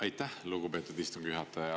Aitäh, lugupeetud istungi juhataja!